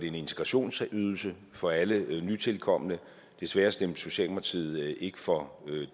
en integrationsydelse for alle nytilkomne desværre stemte socialdemokratiet ikke for